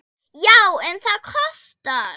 Já, en það kostar!